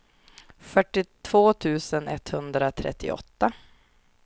fyrtiotvå tusen etthundratrettioåtta